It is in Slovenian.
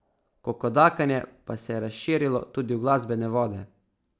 Kokodakanje pa se je razširilo tudi v glasbene vode.